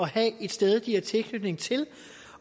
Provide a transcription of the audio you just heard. have et sted det har tilknytning til